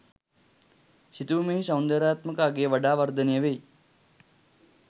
සිතුවමෙහි සෞන්දර්යාත්මක අගය වඩා වර්ධනය වෙයි.